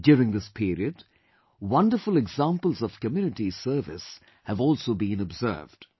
During this period, wonderful examples of community service have also been observed